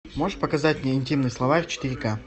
можешь показать мне интимный словарь четыре ка